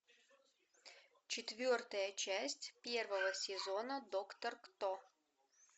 четвертая часть первого сезона доктор кто